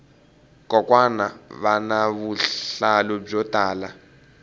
kokwani vana vuhlalu byo tala